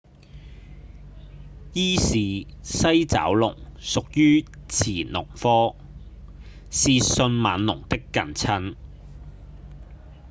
伊氏西爪龍屬於馳龍科是迅猛龍的近親